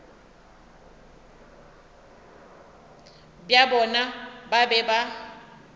bja bona ba be ba